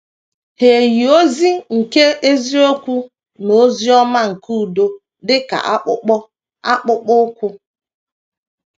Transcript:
Hà yi ozi nke eziokwu na ozi ọma nke udo dị ka akpụkpọ akpụkpọ ụkwụ?